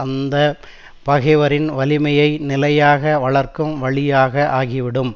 அந்த பகைவரின் வலிமையை நிலையாக வளர்க்கும் வழியாக ஆகிவிடும்